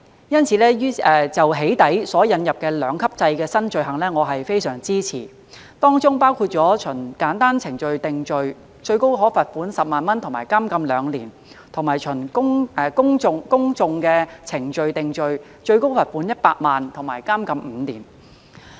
因此我非常支持就"起底"所引入的兩級制的新罪行，當中包括循簡易程序定罪，最高可罰款10萬元和監禁2年，以及循公訟程序定罪最高罰款100萬元和監禁5年。